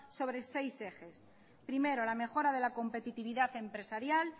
sobre seis ejes primero la mejora de la competitividad empresarial